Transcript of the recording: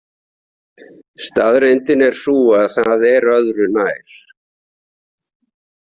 Staðreyndin er sú að það er öðru nær.